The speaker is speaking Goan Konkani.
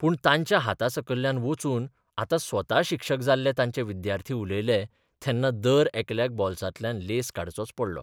पूण तांच्या हातासकयल्यान वचून आतां स्वता शिक्षक जाल्ले तांचे विद्यार्थी उलयले तेन्ना तर दरेकल्याक बोल्सांतल्यान लेंस काडचोच पडलो.